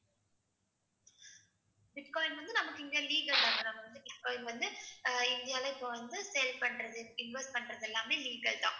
Bitcoin வந்து நமக்கு இங்க legal தான் இப்ப இது வந்து அஹ் இந்தியால இப்ப வந்து sale பண்றது invest பண்றது எல்லாமே legal தான்.